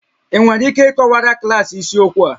Ị nwere ike ịkọwara klaasị isiokwu a?